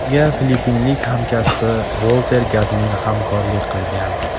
Unga filippinlik hamkasbi Volter Gazmin hamrohlik qilgan.